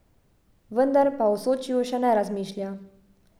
Vendar pa o Sočiju še ne razmišlja.